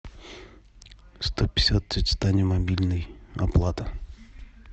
сто пятьдесят тете тане мобильный оплата